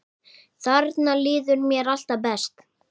Þarna líður mér alltaf best.